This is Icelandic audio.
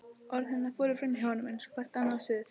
Orð hennar fóru framhjá honum eins og hvert annað suð.